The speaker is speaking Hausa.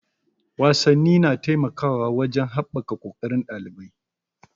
Wasanni na taimakawa wajen haɓaka ƙoƙarin ɗalibai.